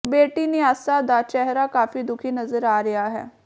ਬੇਟੀ ਨਿਆਸਾ ਦਾ ਚਿਹਰਾ ਕਾਫੀ ਦੁਖੀ ਨਜ਼ਰ ਆ ਰਿਹਾ ਹੈ